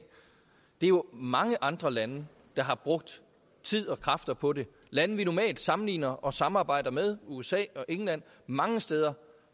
er jo mange andre lande der har brugt tid og kræfter på det lande vi normalt sammenligner os og samarbejder med for usa og england mange steder